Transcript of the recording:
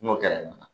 N'o gɛlɛya nana